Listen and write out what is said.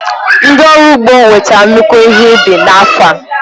Ndị ọrụ ugbo nwetara nnukwu ihe ubi n'afọ a.